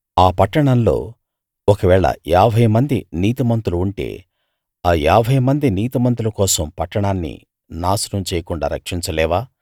ఆ పట్టణంలో ఒకవేళ యాభైమంది నీతిమంతులు ఉంటే ఆ యాభైమంది నీతిమంతుల కోసం పట్టణాన్ని నాశనం చేయకుండా రక్షించలేవా